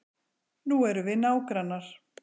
Nú erum við nágrannar.